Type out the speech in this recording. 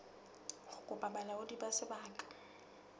ho kopa bolaodi ba sebaka